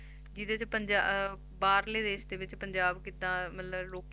ਜਿਹਦੇ 'ਚ ਪੰਜਾ~ ਬਾਹਰਲੇ ਦੇਸ ਦੇ ਵਿੱਚ ਪੰਜਾਬ ਕਿੱਦਾਂ ਮਤਲਬ ਲੋਕੀ